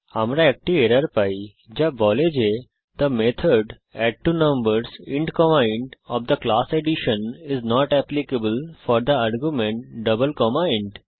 আমরা একটি এরর পাই যা বলে যে থে মেথড অ্যাডট্বোনাম্বারসহ int comma int of the class addition is not applicable for the argument double comma int